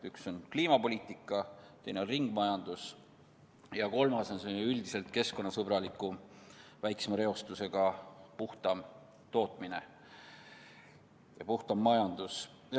Üks on kliimapoliitika, teine on ringmajandus ja kolmas on keskkonnasõbralikum, väiksema reostusega, puhtam tootmine, üldse puhtam majandus.